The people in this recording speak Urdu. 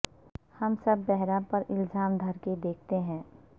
سو ہم بہار پر الزام دھر کے دیکھتے ہیں